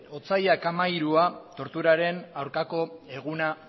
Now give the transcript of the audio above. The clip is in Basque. otsailaren hamairua torturaren aurkako eguna